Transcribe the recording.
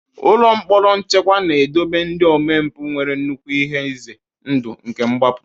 Ụlọ mkpọrọ nchekwa na-edobe ndị omempụ nwere nnukwu ihe ize ndụ nke mgbapụ.